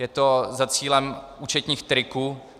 Je to za cílem účetních triků.